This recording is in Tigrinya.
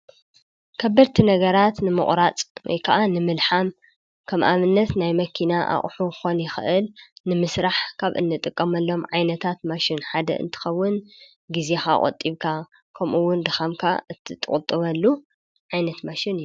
ከበርቲ ነገራት ንመቑራጽይ ከዓ ንምልኃም ከም ኣምነት ናይ መኪና ኣቝሑ ኾን ይኽእል ንምሥራሕ ካብ እንጥቀመሎም ዓይነታት ማሽን ሓደ እንትኸውን ጊዜ ኻቖጢብካ ከምኡውን ድኻምካ እትጥቕጥበሉ ዓይነት ማሽን እነ።